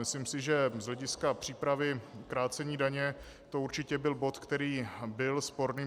Myslím si, že z hlediska přípravy krácení daně to určitě byl bod, který byl sporný.